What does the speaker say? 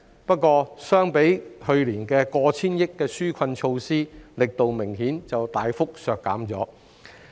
不過，與去年過千億元的紓困措施相比，力度明顯大幅削減。